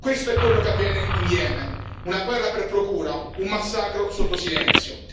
Questo è quello che avviene in Yemen una guerra per procura, un massacro sotto silenzio.